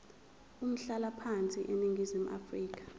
umhlalaphansi eningizimu afrika